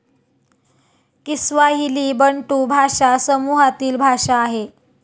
Kiswahili Bantu भाषा समूहातील भाषा आहे.